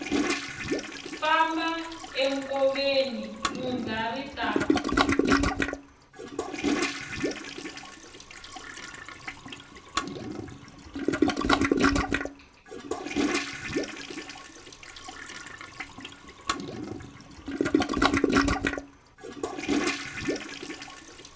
famba enkoveni lundza ri ta